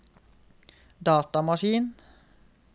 datamaskin